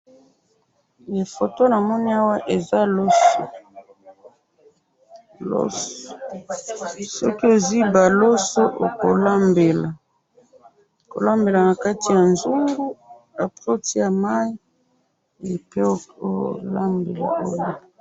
na photo namoni awa eza loso, loso, soki ozwi ba loso oko lambela, oko lambela na kati ya nzungu, après otie mayi, pe oko lambela o lie